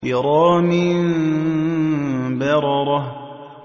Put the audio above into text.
كِرَامٍ بَرَرَةٍ